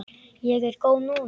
Ég er góð núna.